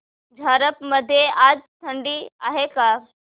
झारप मध्ये आज थंडी आहे का